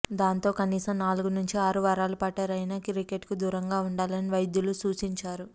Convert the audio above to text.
దాంతో కనీసం నాలుగు నుంచి ఆరు వారాలపాటు రైనా క్రికెట్కు దూరంగా ఉండాలని వైద్యులు సూచించారు